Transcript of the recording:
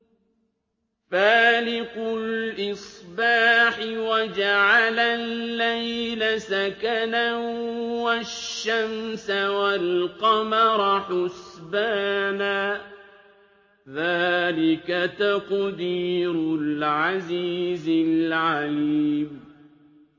فَالِقُ الْإِصْبَاحِ وَجَعَلَ اللَّيْلَ سَكَنًا وَالشَّمْسَ وَالْقَمَرَ حُسْبَانًا ۚ ذَٰلِكَ تَقْدِيرُ الْعَزِيزِ الْعَلِيمِ